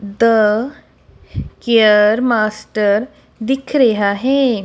ਦਾ care master ਦਿਖ ਰਿਹਾ ਹੈ।